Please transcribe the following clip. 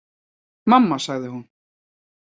Mamma sagði hún.